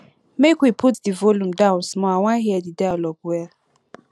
make we put di volume down small i wan hear di dialogue well